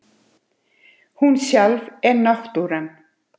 Hún sjálf er náttúran.